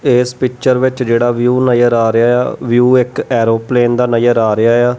ਇਸ ਪਿੱਚਰ ਵਿੱਚ ਜਿਹੜਾ ਵਿਊ ਨਜ਼ਰ ਆ ਰਿਹਾ ਆ ਵਿਊ ਇੱਕ ਐਰੋਪਲੇਨ ਦਾ ਨਜ਼ਰ ਆ ਰਿਹਾ ਆ।